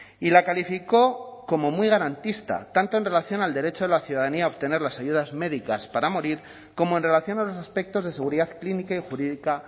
y la calificó como muy garantista tanto en relación al derecho de la ciudadanía a obtener las ayudas médicas para morir como en relación a los aspectos de seguridad clínica y jurídica